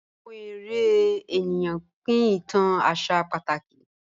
Awọn èrè ènìyàn pín ìtàn àṣà pátákì